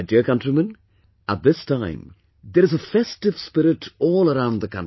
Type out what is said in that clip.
My dear countrymen, at this time there is a festive spirit all around the country